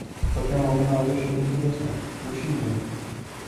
по первому каналу идет что то интересное включи мне его